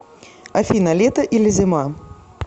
афина лето или зима